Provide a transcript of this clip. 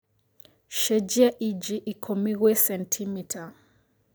cenjĩa ĩnjĩ ikũmi gwĩ centimita